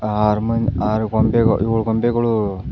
ಆರು ಮನ್ ಆರು ಗೊಂಬೆ ಏಳ್ ಗೊಂಬೆಗಳು --